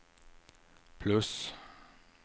plus